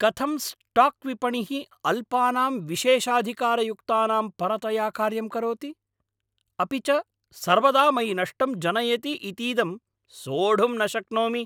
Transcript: कथं स्टाक्विपणिः अल्पानां विशेषाधिकारयुक्तानां परतया कार्यं करोति, अपि च सर्वदा मयि नष्टं जनयति इतीदं सोढुं न शक्नोमि।